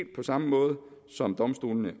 på samme måde som domstolene